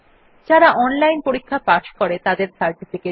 যারা অনলাইন পরীক্ষা পাস করে তাদের সার্টিফিকেট দেয়